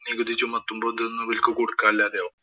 നികുതി ചുമത്തുമ്പോ ഇതൊന്നും ഇവര്‍ക്ക് കൊടുക്കാന്‍ ഇല്ലാതെയാവും.